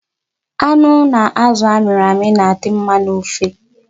Anụ na azụ a mịrị amị na-adị mma n'ofe.